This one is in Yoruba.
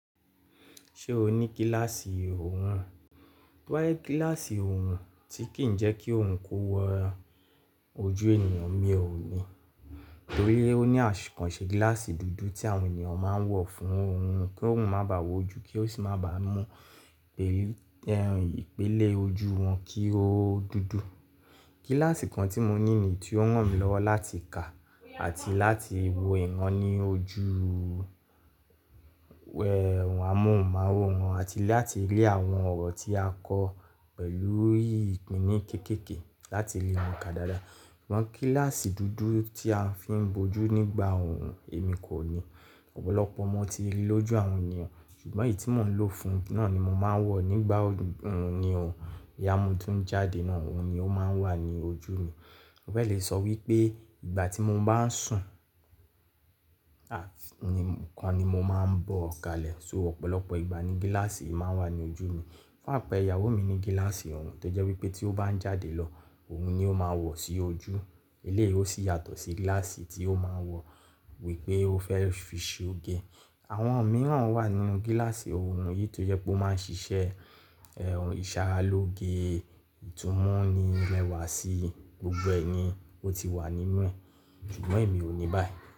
Ṣé o ní gíláàsì òòrùn? To ba jẹ gíláàsì òòrùn tí kì í jẹ́ kí òòrùn kó wọ ojú ènìyàn mi ò ní, torí ó ní akan ṣe gíláàsì dúdú tí àwọn ènìyàn máa ń wọ̀ fún òòrùn kí òòrùn má bà wọ́ ojú, kí ó sì má bà mú ìpèlè ojú wọn kí ó dúdú. Gíláàsì kan tí mo ní ni èyí tí ó ran mí lọ́wọ́ láti kà àti láti wo ìran ní ojú a mú ohun mu aworan àti láti lé àwọn ọ̀rọ̀ tí a kọ pẹ̀lú ìpinni kéékèèké láti ribwọn ka dáadáa. Amọ gíláàsì dúdú tí a fi ń bojú nígbà òòrùn èmi kò ní. Ọ̀pọ̀lọpọ̀ mo ti rí lójú àwọn ènìyàn, ṣùgbọ́n èyí tí mò ń lò fún náà ni mo máa ń wọ̀ nígbà òòrùn ni òun, boya mo tún ń jáde náà òun ni ó máa ń wà ní ojú mi. Mo fẹ́ lè sọ wípé ìgbà tí mo bá ń sùn ni mo máa ń bọ́ ọ̀kàlẹ̀, so ọ̀pọ̀lọpọ̀ ìgbà ni gíláàsì yìí máa ń wà ní ojú mi. Fún àpẹ́rẹ ìyàwó mi ní gíláàsì òòrùn tó jẹ́ wípé tí ó bá ń jáde lọ òòrùn ni ó máa wọ̀ sí ojú, eléyìí ó sì yàtọ̀ sí gíláàsì tí ó máa ń wọ̀ wípé ó fẹ́ fi ṣe oge. Àwọn mìíràn wà nínú gíláàsì òòrùn, nítorí pé ó máa ń ṣiṣẹ́ ìṣàáraloge, ìtumuni rẹwa sí gbogbo ẹ ni o ti wà nínú ẹ̀, ṣùgbọ́n èmi ò ní báyìí.